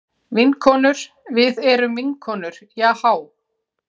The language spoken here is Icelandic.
Vinkonur, við erum vinkonur Jahá.